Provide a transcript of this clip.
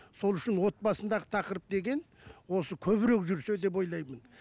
сол үшін отбасындағы тақырып деген осы көбірек жүрсе деп ойлаймын